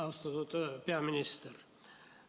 Austatud peaminister!